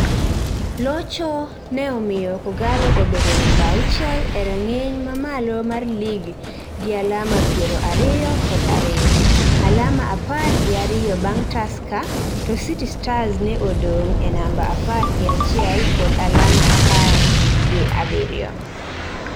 Locho ne omiyo K'Ogalo obedo namba auchiel e rang'iny ma malo mar lig gi alama piero ariyo kod ariyo, alama apar gi ariyo bang' Tusker to City Stars ne odong' e namba apar gi achiel kod alama apar gi abiriyo.